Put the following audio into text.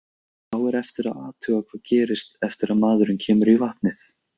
Þá er eftir að athuga hvað gerist eftir að maðurinn kemur í vatnið.